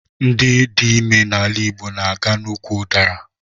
Ndị dị ime n'ala Igbo na aga n'úkwù udara